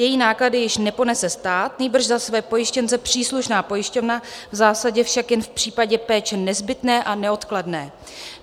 Její náklady již neponese stát, nýbrž za své pojištěnce příslušná pojišťovna, v zásadě však jen v případě péče nezbytné a neodkladné.